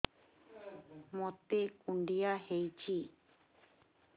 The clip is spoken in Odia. ମୋତେ କୁଣ୍ଡିଆ ହେଇଚି